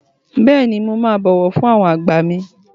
Bẹ́ẹ̀ni, mo máa bọ̀wọ̀ fún àwọn àgbà mì.